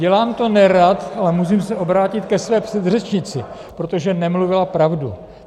Dělám to nerad, ale musím se obrátit ke své předřečnici, protože nemluvila pravdu.